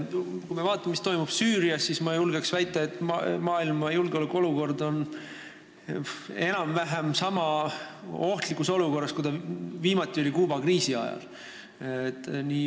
Kui me vaatame, mis toimub Süürias, siis ma julgen väita, et maailma julgeolekuolukord on enam-vähem sama ohtlik, kui ta viimati oli Kuuba kriisi ajal.